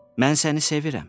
Mən səni sevirəm.